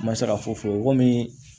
N ma se ka fɔ fɔ komi